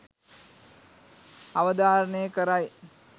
අවධාරණය කරයි.